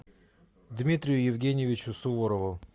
дмитрию евгеньевичу суворову